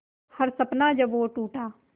हर सपना जब वो टूटा